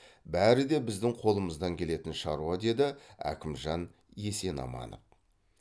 бәрі де біздің қолымыздан келетін шаруа деді әкімжан есенаманов